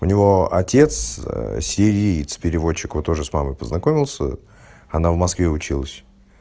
у него отец сириец переводчик вот тоже с мамой познакомился она в москве училась